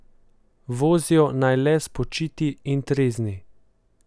Vozijo naj le spočiti in trezni.